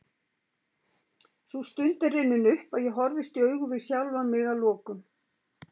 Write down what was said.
Sú stund er runnin upp að ég horfist í augu við sjálfan mig að lokum.